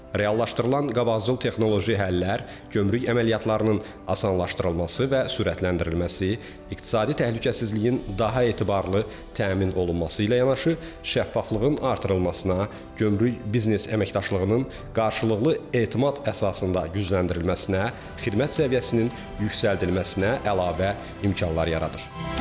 Reallaşdırılan qabaqcıl texnoloji həllər gömrük əməliyyatlarının asanlaşdırılması və sürətləndirilməsi, iqtisadi təhlükəsizliyin daha etibarlı təmin olunması ilə yanaşı, şəffaflığın artırılmasına, gömrük biznes əməkdaşlığının qarşılıqlı etimad əsasında gücləndirilməsinə, xidmət səviyyəsinin yüksəldilməsinə əlavə imkanlar yaradır.